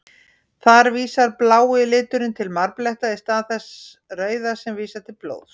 Þar vísar blái liturinn til marbletta, í stað þess rauða sem vísar til blóðs.